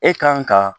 E kan ka